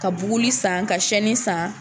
Ka buguli san ka san